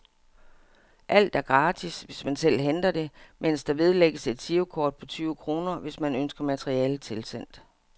Alt er gratis, hvis man selv henter det, mens der vedlægges et girokort på tyve kroner, hvis man ønsker materialet tilsendt.